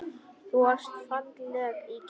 Þú varst falleg í gær.